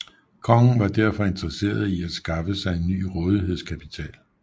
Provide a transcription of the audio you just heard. Kongen var derfor interesseret i at skaffe sig en ny rådighedskapital